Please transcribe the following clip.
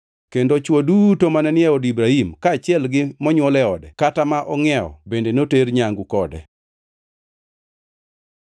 Kendo chwo duto mane ni e od Ibrahim, kaachiel gi monywol e ode kata ma ongʼiewo, bende noter nyangu kode.